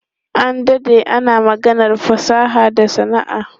An dade ana maganar fasaha da sana'a.